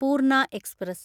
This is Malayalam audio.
പൂർണ എക്സ്പ്രസ്